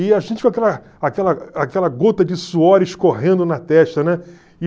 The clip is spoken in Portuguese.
E a gente com aquela aquela aquela gota de suor escorrendo na testa, né?